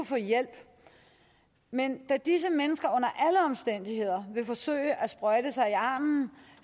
få hjælp men da disse mennesker under alle omstændigheder vil forsøge at sprøjte sig i armen